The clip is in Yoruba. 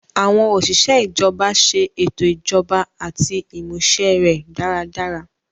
Àwọn osise ijọba ṣe ètò ijọba àti ìmúṣẹ rẹ̀ dáradára